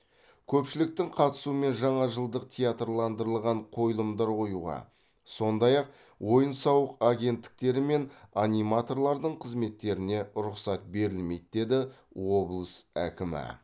көпшіліктің қатысуымен жаңа жылдық театрландырылған қойылымдар қоюға сондай ақ ойын сауық агенттіктері мен аниматорлардың қызметтеріне рұқсат берілмейді деді облыс әкімі